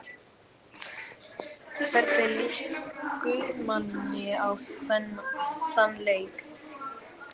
Hvernig lýst Guðmanni á þann leik?